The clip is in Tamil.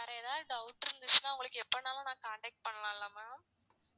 வேற ஏதாவது doubt இருந்துச்சுன்னா உங்களுக்கு எப்பனாலும் நான் contact பண்ணலாம் இல்லை ma'am